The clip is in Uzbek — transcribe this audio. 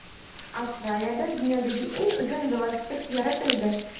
Avstraliyada dunyodagi eng uzun velosiped yaratildi .